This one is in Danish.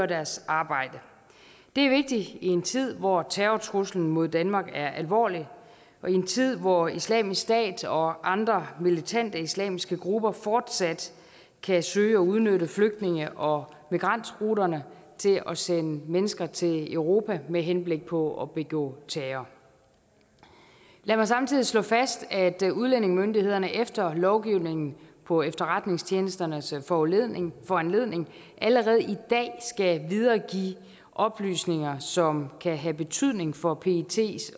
deres arbejde det er vigtigt i en tid hvor terrortruslen mod danmark er alvorlig og i en tid hvor islamisk stat og andre militante islamiske grupper fortsat kan søge at udnytte flygtninge og migrantruterne til at sende mennesker til europa med henblik på at begå terror lad mig samtidig slå fast at udlændingemyndighederne efter lovgivningen på efterretningstjenesternes foranledning foranledning allerede i dag skal videregive oplysninger som kan have betydning for pets